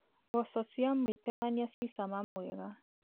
Mboco cia mwĩtemania ci cama mwega.